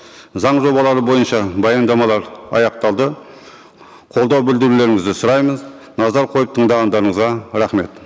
заң жобалары бойынша баяндамалар аяқталды қолдау білдірулеріңізді сұраймыз назар қойып тыңдағандарыңызға рахмет